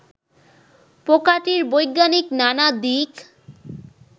পোকাটির বৈজ্ঞানিক নানা দিক